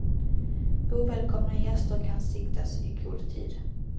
Ovälkomna gäster kan siktas i god tid.